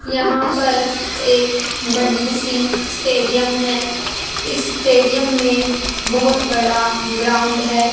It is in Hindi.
यहां पर एक बड़ी सी स्टेडियम है इस स्टेडियम में बहुत बड़ा ग्राउंड है।